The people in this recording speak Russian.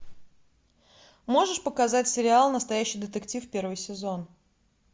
можешь показать сериал настоящий детектив первый сезон